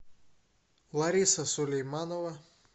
лариса сулейманова